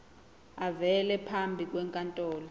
avele phambi kwenkantolo